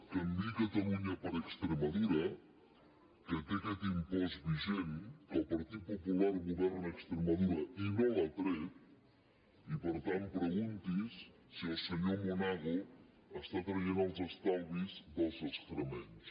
canviï catalunya per extremadura que té aquest impost vigent que el partit popular governa a extremadura i no l’ha tret i per tant pregunti’s si el senyor monago treu els estalvis dels extremenys